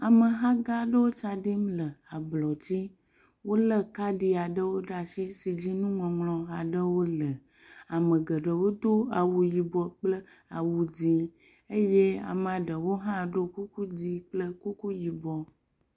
Ameha gã aɖe wo tsa ɖim le ablɔ dzi. Wo le kaɖi aɖewo ɖe asi si dzi nuŋɔŋlɔ aɖewo le. Ame geɖewo do awu yibɔ kple awu dzi eye amea ɖewo hã ɖo kuku dzi kple kuku yibɔ.